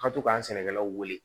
Ka to k'an sɛnɛkɛlaw wele